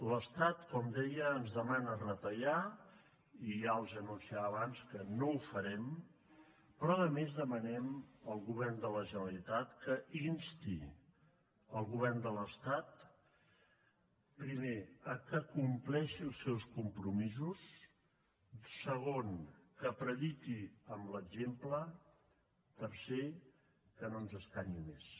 l’estat com deia ens demana retallar i ja els anunciava abans que no ho farem però a més demanem al govern de la generalitat que insti el govern de l’estat primer que compleixi els seus compromisos segon que prediqui amb l’exemple tercer que no ens escanyi més